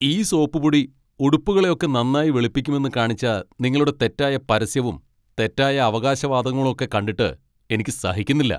ഈ സോപ്പുപൊടി ഉടുപ്പുകളൊക്കെ നന്നായി വെളുപ്പിക്കുമെന്ന് കാണിച്ച നിങ്ങളുടെ തെറ്റായ പരസ്യവും തെറ്റായ അവകാശവാദങ്ങളൊക്കെ കണ്ടിട്ട് എനിക്ക് സഹിക്കുന്നില്ല.